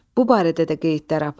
Bu barədə də qeydlər apar.